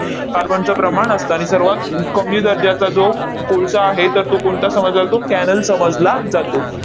कार्बनचं प्रमाण असतं. आणि सर्वात कमी दर्जाचा जो कोळसा आहे, तर तो कोणता समजला जातो? cannel समजला जातो.